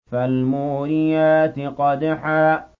فَالْمُورِيَاتِ قَدْحًا